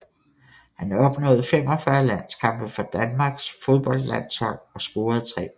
Han opnåede 45 landskampe for Danmarks fodboldlandshold og scorede 3 mål